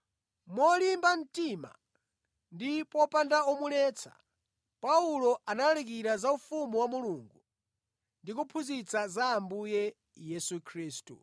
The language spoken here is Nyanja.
Molimba mtima ndi popanda womuletsa, Paulo analalikira za ufumu wa Mulungu ndi kuphunzitsa za Ambuye Yesu Khristu.